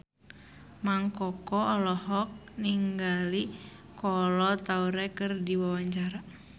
Mang Koko olohok ningali Kolo Taure keur diwawancara